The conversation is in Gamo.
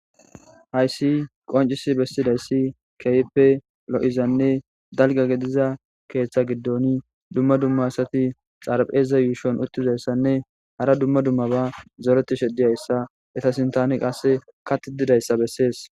Haysi qonc'si besidaysi kehipe lo'izane dalga ketha gidoni duma duma asati xarpheza yushon utidaysanne hara duma dumaba zoretishe diyaysa eta sintan qase kathi didaysa beses.